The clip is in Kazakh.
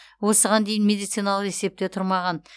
осыған дейін медициналық есепте тұрмаған